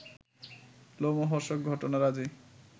লোমহর্ষক ঘটনারাজি